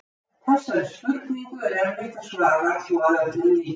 Þessari spurningu er erfitt að svara svo að öllum líki.